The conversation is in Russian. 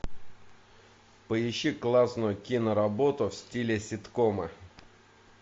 поищи классную киноработу в стиле ситкома